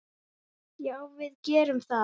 Já, við gerum það.